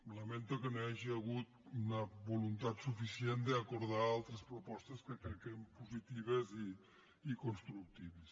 lamento que no hi hagi hagut una voluntat suficient d’acordar altres pro·postes que crec que eren positives i constructives